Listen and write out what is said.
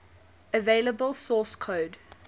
available source code